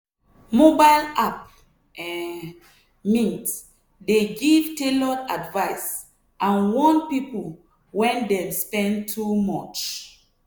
mobile app um mint dey give tailored advice and warn people when dem spend too much.